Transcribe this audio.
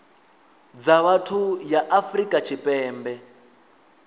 dza vhathu ya afrika tshipembe